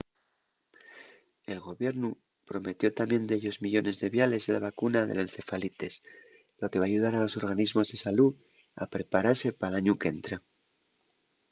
el gobiernu prometió tamién dellos millones de viales de la vacuna de la encefalitis lo que va ayudar a los organismos de salú a preparase pal añu qu’entra